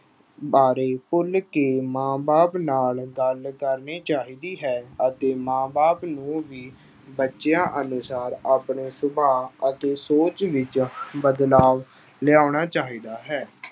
ਬਾਰੇ ਖੁੱਲ੍ਹ ਕੇ ਮਾਂ ਬਾਪ ਨਾਲ ਗੱਲ ਕਰਨੀ ਚਾਹੀਦੀ ਹੈ ਅਤੇ ਮਾਂ ਬਾਪ ਨੂੰ ਵੀ ਬੱਚਿਆਂ ਅਨੁਸਾਰ ਆਪਣੇ ਸੁਭਾਅ ਅਤੇ ਸੋਚ ਵਿੱਚ ਬਦਲਾਵ ਲਿਆਉਣਾ ਚਾਹੀਦਾ ਹੈ।